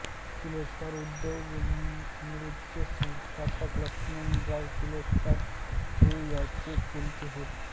किर्लोस्कर उद्योगसमूहाचे संस्थापक लक्ष्मणराव किर्लोस्कर हे यांचे चुलते होत